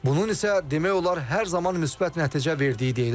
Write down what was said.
Bunun isə demək olar hər zaman müsbət nəticə verdiyi deyilir.